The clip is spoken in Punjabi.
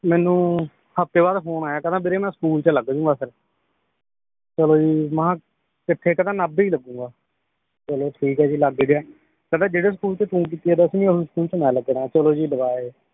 ਮੇਨੂ ਹਫਤੇ ਬਾਅਦ ਫੋਨ ਆਇਆ ਕਹਿੰਦੇ ਵੀਰੇ ਮੈ ਸਕੂਲ ਚ ਲੱਗ ਜੂੰਗਾ ਫੇਰ ਚਲੋ ਜੀ ਮਾਹ ਕਿਥੇ ਕਹਿੰਦੇ ਨਾਭੇ ਈ ਲੱਗੂਗਾ ਚਲੋ ਠੀਕ ਏ ਜੀ ਲੱਗ ਗਿਆ ਕਹਿੰਦਾ ਜਿਹੜੇ ਸਕੂਲ ਚ ਤੂ ਕੀਤੀ ਏ ਦੱਸਵੀਂ ਓਹੀ ਸਕੂਲ ਚ ਲੱਗਣਾ ਏ ਚਲੋ ਜੀ ਲਵਾ ਆਏ